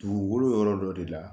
Dugukolo yɔrɔ dɔ de la